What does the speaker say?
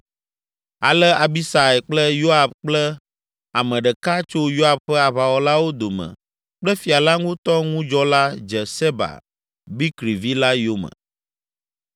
Ale Abisai kple Yoab kple ame ɖeka tso Yoab ƒe aʋawɔlawo dome kple fia la ŋutɔ ŋudzɔla dze Seba, Bikri vi la yome.